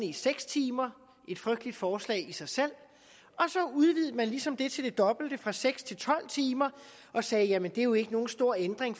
i seks timer et frygteligt forslag i sig selv og så udvidede man ligesom det til det dobbelte altså fra seks til tolv timer og sagde jamen det er jo ikke nogen stor ændring